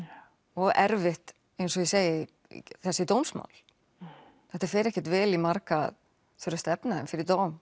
og erfitt eins og ég segi þessi dómsmál þetta fer ekkert vel í marga að þurfa að stefna þeim fyrir dóm